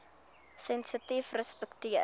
sensitiefrespekteer